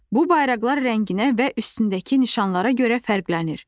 Bu bayraqlar rənginə və üstündəki nişanlara görə fərqlənir.